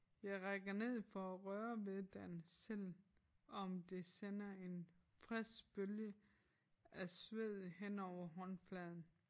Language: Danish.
Jeg rækker ned for at røre ved den selvom det sender en stressbølge af sved henover håndfladen